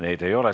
Neid ei ole.